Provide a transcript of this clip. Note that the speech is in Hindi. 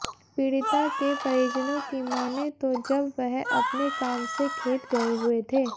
पीड़िता के परिजनों की माने तो जब वह अपने काम से खेत गये हुये थे